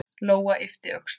Lóa yppti öxlum.